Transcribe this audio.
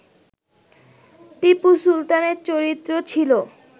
টিপু সুলতানের চরিত্র ছিল